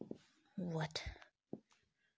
вот